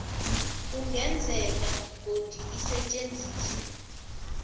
kungenzeka godu isetjenziswe